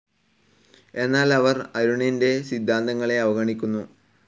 എന്നാൽ അവർ അരുണിന്റെ സിദ്ധാന്തങ്ങളെ അവഗണിക്കുന്നു